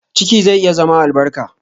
Ciki zai iya zama albarka.